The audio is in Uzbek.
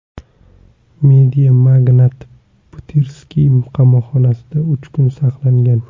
Mediamagnat Butirskiy qamoqxonasida uch kun saqlangan.